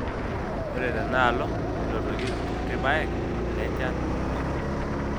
Ore tenaalo, nenotoki irkutik paek le nchan dorrop.